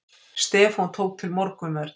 Stefán tók til morgunverð.